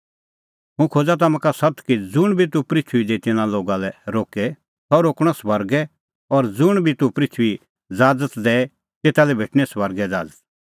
हुंह खोज़ा तम्हां का सत्त कि ज़ुंण बी तूह पृथूई दी तिन्नां लोगा लै रोके सह रोकणअ स्वर्गै और ज़ुंण बी तूह पृथूई दी ज़ाज़त दैए तेता लै भेटणीं स्वर्गै ज़ाज़त